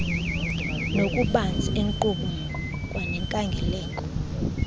ngokubanzi enkqubo kwanenkangeleko